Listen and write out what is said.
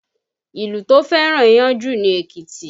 Ìlú tó fẹ́ràn iyán jù ni Èkìtì